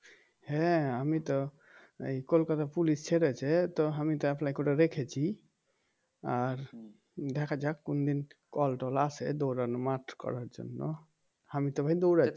হ্যাঁ আমি তো এই কলকাতা পুলিশ ছেড়েছে তো আমি তো apply করে রেখেছি আর দেখা যাক কোনদিন কল টল আসে দৌড়ানো মাঠ করার জন্য আমি তো ভাই দৌড়া